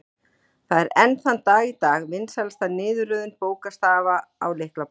Það er enn þann dag í dag vinsælasta niðurröðun bókstafa á lyklaborð.